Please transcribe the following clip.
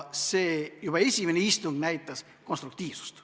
Juba esimene istung näitas konstruktiivsust.